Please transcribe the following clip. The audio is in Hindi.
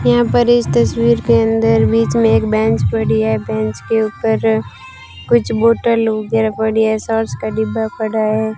यहां पर इस तस्वीर के अंदर बीच में एक बेंच पड़ी है बेंच के ऊपर कुछ बॉटल वगैरा पड़ी है सॉस का डिब्बा पड़ा है।